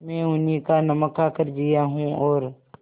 मैं उन्हीं का नमक खाकर जिया हूँ और